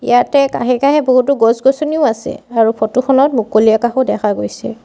ইয়াতে কাষে কাষে বহুতো গছ-গছনিও আছে আৰু ফটো খনত মুকলি আকাশো দেখা গৈছে।